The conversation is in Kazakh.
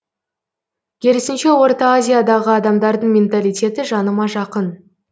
керісінше орта азиядағы адамдардың менталитеті жаныма жақын